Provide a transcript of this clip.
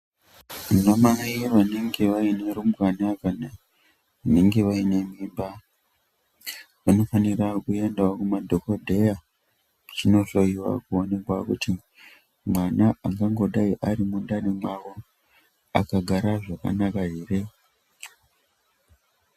Wna mai vanenge vaine arumbwana kana vanenge vaine mimba vanofanira kuendawo kumadhokoteya vachinohloiwa kuonekwa kuti mwana angangodai ari mwundani mwavo akagara z.vakanaka ere